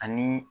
Ani